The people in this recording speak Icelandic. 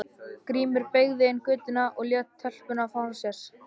Grímur beygði inn í götuna og lét telpuna frá sér.